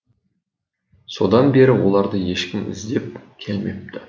содан бері оларды ешкім іздеп келмепті